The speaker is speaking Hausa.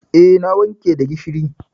Eh, na wanke da gishiri.